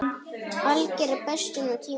Alger bestun á tíma.